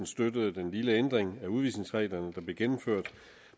støttede den lille ændring af udvisningsreglerne der blev gennemført